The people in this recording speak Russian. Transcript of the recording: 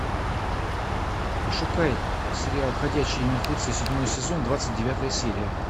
пошукай сериал ходячие мертвецы седьмой сезон двадцать девятая серия